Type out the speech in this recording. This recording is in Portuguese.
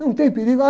Não tem perigo.